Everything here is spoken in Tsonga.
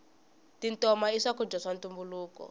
tintoma i swakudya swa ntumbuluko